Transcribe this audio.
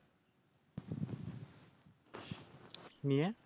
নিয়ে?